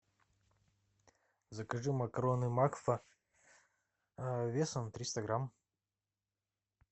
закажи макароны макфа весом триста грамм